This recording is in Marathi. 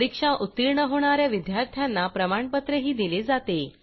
परीक्षा उत्तीर्ण होणा या विद्यार्थ्यांना प्रमाणपत्रही दिले जाते